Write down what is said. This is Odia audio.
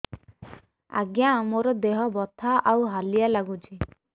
ଆଜ୍ଞା ମୋର ଦେହ ବଥା ଆଉ ହାଲିଆ ଲାଗୁଚି